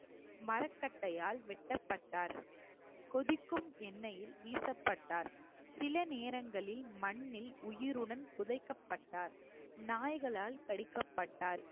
மரக்கட்டையால் வெட்டப்பட்டார் கொதிக்கும் எண்ணெயில் வீசப்பட்டார் சில நேரங்களில் மண்ணில் உயிருடன் புதைக்கப்பட்டார் நாய்களால் கடிக்கப்பட்டார்